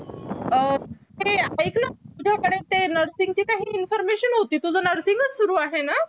अह ऐकना तुझ्याकडे ते काही nursing ची काही information होती तुझं nursing च सुरु आहे ना